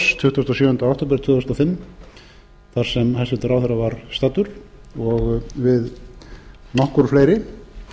og sjöunda október tvö þúsund og fimm þar sem hæstvirtur ráðherra var staddur og við nokkur fleiri